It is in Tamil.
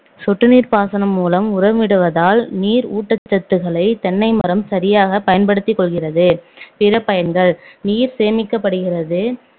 சொட்டு நீர் பாசனம் மூலம் உரமிடுவதால் நீர் ஊட்டச்சத்துக்களை தென்னைமரம் சரியாகப் பயன்படுத்திக் கொள்கிறது பிற பயனகள் நீர் சேமிக்கப்படுகிறது